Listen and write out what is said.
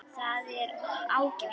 Það var ágætt.